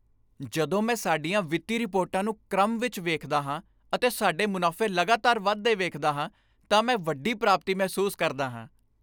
ਜਦੋਂ ਮੈਂ ਸਾਡੀਆਂ ਵਿੱਤੀ ਰਿਪੋਰਟਾਂ ਨੂੰ ਕ੍ਰਮ ਵਿੱਚ ਵੇਖਦਾ ਹਾਂ ਅਤੇ ਸਾਡੇ ਮੁਨਾਫ਼ੇ ਲਗਾਤਾਰ ਵਧਦੇ ਵੇਖਦਾ ਹਾਂ ਤਾਂ ਮੈਂ ਇਕ ਵੱਡੀ ਪ੍ਰਾਪਤੀ ਮਹਿਸੂਸ ਕਰਦਾ ਹਾਂ।